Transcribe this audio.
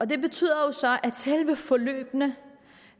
det betyder at selve forløbene